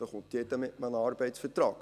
Da kommt jeder mit einem Arbeitsvertrag;